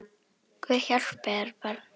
Guð hjálpi þér barn!